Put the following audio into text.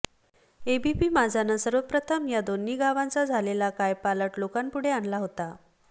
ABP माझानं सर्वप्रथम या दोन्ही गावांचा झालेला कायपालट लोकांपुढे आणला होता